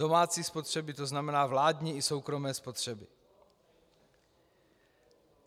Domácí spotřeby, to znamená vládní i soukromé spotřeby.